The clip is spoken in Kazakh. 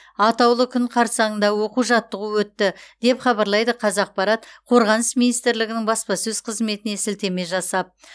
атаулы күн қарсаңында оқу жаттығу өтті деп хабарлайды қазақпарат қорғаныс министрлігінің баспасөз қызметіне сілтеме жасап